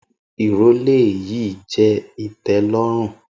Irọlẹ yii jẹ itẹlọrun.